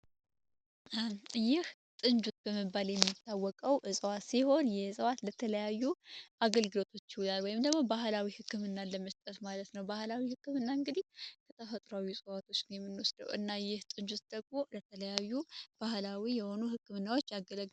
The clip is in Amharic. ይህ ጥንጁት በመባል የሚታወቀው እጽዋት ሲሆን የእጽዋት ለተለያዩ አገልግሎቶች ይውላል ወይም ደግሞ ባህላዊ ሕክምና ለመስጠት ማለት ነው ባህላዊ ሕክምና እንግዲህ ከተፈጥሯዊ እጸዋቶችን የምኖስደው እና ይህ ጥንጁት ደግሞ ለተለያዩ ባህላዊ የሆኑ ሕክምናዎች ያገለግላል።